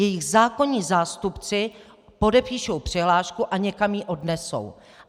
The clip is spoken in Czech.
Jejich zákonní zástupci podepíší přihlášku a někam ji odnesou.